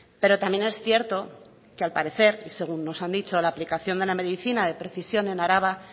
pero también es cierto que al parecer y según nos han dicho la aplicación de la medicina de precisión en araba